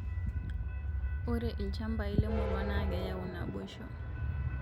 Ore ilchambai lemurua na keyau naboisho